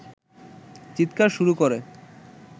চিৎকার শুরু করে